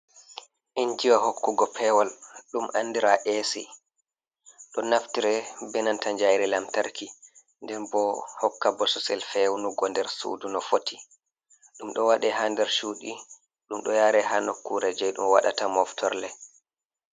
Injiwa hokkugo pewol, ɗum andira A.C, ɗo naftire be nanta njayri lamtarki, nden bo hokka bososel fewnugo nder sudu no foti. Ɗum ɗo waɗe ha nder cuuɗi, ɗum ɗo yare ha nokkure jei ɗum waɗata moftorle.